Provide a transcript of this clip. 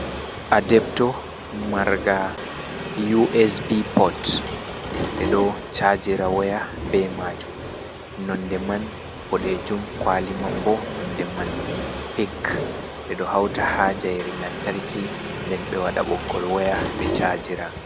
Adebto marnga USB pot. Ɓe ɗo chaajira waya be maajum. Nonde man boɗejum, kwaliman boo nonde man pink. Ɓe ɗo hauta haa njayri lantarki nden ɓe wada ɓoggol waya ɓe chaajira.